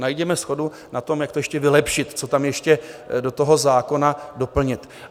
Najděme shodu na tom, jak to ještě vylepšit, co tam ještě do toho zákona doplnit.